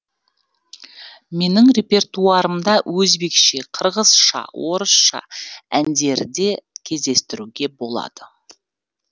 менің репертуарымда өзбекше қырғызша орысша әндерде кездестіруге болады